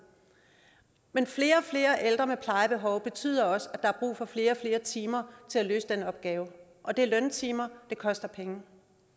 men flere og flere ældre med plejebehov betyder også at der er brug for flere og flere timer til at løse den opgave det er løntimer det koster penge